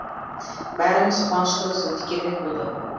бәріміз қуаныштымыз өте керемет болды